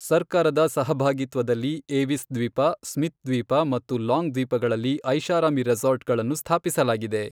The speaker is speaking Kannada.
ಸರ್ಕಾರದ ಸಹಭಾಗಿತ್ವದಲ್ಲಿ ಏವಿಸ್ ದ್ವೀಪ, ಸ್ಮಿತ್ ದ್ವೀಪ ಮತ್ತು ಲಾಂಗ್ ದ್ವೀಪಗಳಲ್ಲಿ ಐಷಾರಾಮಿ ರೆಸಾರ್ಟ್ ಗಳನ್ನು ಸ್ಥಾಪಿಸಲಾಗಿದೆ.